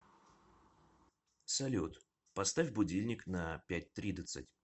салют поставь будильник на пять тридцать